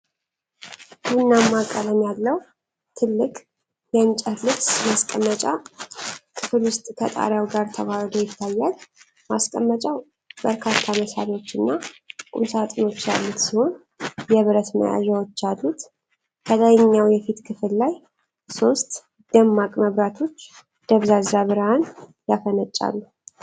ቡናማ ቀለም ያለው ትልቅ የእንጨት ልብስ ማስቀመጫ ክፍል ውስጥ ከጣሪያው ጋር ተዋህዶ ይታያል። ማስቀመጫው በርካታ መሳቢያዎችና ቁምሳጥኖች ያሉት ሲሆን የብረት መያዣዎች አሉት። ከላይኛው የፊት ክፍል ላይ ሶስት ደማቅ መብራቶች ደብዛዛ ብርሃን ያፈነጫሉ።